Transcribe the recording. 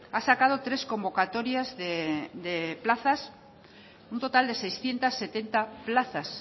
ha sacado tres convocatorias de plazas un total de seiscientos setenta plazas